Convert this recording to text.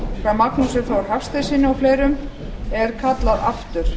magnúsi þór hafsteinssyni og fleirum er kallað aftur